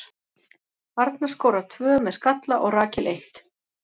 Arna skorar tvö með skalla og Rakel eitt.